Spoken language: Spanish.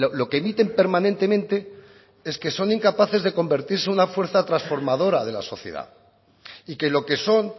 lo que emiten permanentemente es que son incapaces de convertirse en una fuerza transformadora de la sociedad y que lo que son